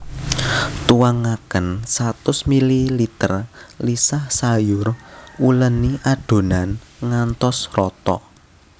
Tuangaken satus mililiter lisah sayur uléni adhonan ngantos rata